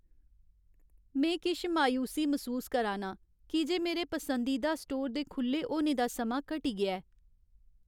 में किश मायूसी मसूस करा नां की जे मेरे पसंदीदा स्टोर दे खु'ल्ले होने दा समां घटी गेआ ऐ।